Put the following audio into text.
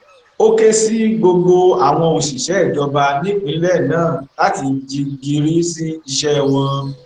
ó ké sí gbogbo àwọn òṣìṣẹ ìjọba nípínlẹ náà láti jí gìrì sí iṣẹ wọn